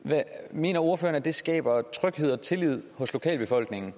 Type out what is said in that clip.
mener ordføreren at det skaber tryghed og tillid hos lokalbefolkningen